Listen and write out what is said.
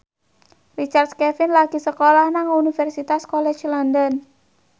Richard Kevin lagi sekolah nang Universitas College London